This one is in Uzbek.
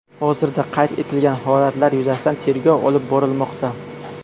Hozirda qayd etilgan holatlar yuzasidan tergov olib borilmoqda.